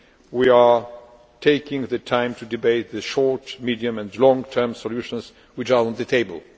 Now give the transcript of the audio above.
we are taking the time to debate the short medium and long term solutions which are on the table.